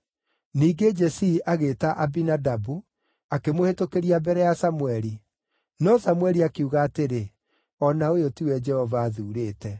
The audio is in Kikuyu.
Ningĩ Jesii agĩĩta Abinadabu akĩmũhĩtũkĩria mbere ya Samũeli. No Samũeli akiuga atĩrĩ, “O na ũyũ tiwe Jehova athuurĩte.”